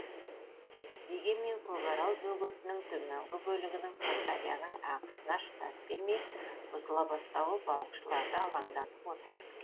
дегенмен көкарал бөгетінің төменгі бөлігінің сырдарияның ағысына шыдас бермей бұзыла бастауы балықшыларды алаңдатып отыр